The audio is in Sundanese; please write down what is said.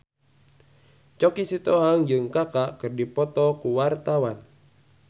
Choky Sitohang jeung Kaka keur dipoto ku wartawan